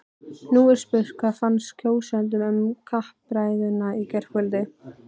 Nú er spurt, hvað fannst kjósendum um kappræðurnar í gærkvöld?